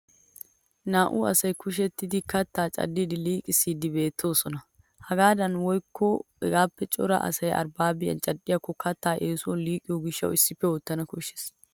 Naa'u asay kishettiddi kattaa caddidi liiqissiiddi beettoosona. Hagaadan naa'u woykko hegaappe cora asay arbbaabi cadhdhikko kattay essuwan liiqiyo gishshawu issippe oottana koshshes.